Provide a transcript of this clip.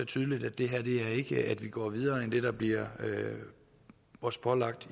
tydeligt at det her ikke betyder at vi går videre end det der bliver os pålagt